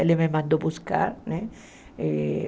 Ele me mandou buscar, né?